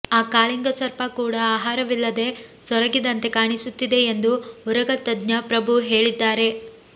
ಈ ಕಾಳಿಂಗ ಸರ್ಪ ಕೂಡಾ ಆಹಾರವಿಲ್ಲದೆ ಸೊರಗಿದಂತೆ ಕಾಣಿಸುತ್ತಿದೆ ಎಂದು ಉರಗ ತಜ್ಞ ಪ್ರಭು ಹೇಳಿದ್ದಾರೆ